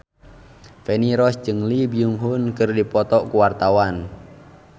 Feni Rose jeung Lee Byung Hun keur dipoto ku wartawan